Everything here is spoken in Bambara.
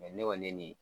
ne kɔni ne ni